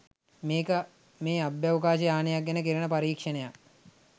මේක මේ අභ්‍යවකාශ යානයක් ගැන කෙරෙන පරීක්ෂණයක්.